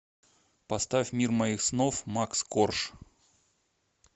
поставь мир моих снов макс корж